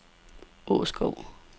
Åskov